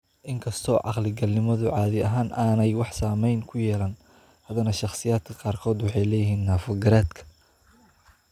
In kasta oo caqli-galnimadu caadi ahaan aanay wax saamayn ah ku yeelan, haddana shakhsiyaadka qaarkood waxay leeyihiin naafo garaadka.